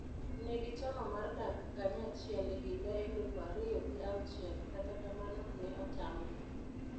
Ne gichano mar dak kanyachiel e higa elufu ariyo gi awuchiel, kata kamano, ne otamgi.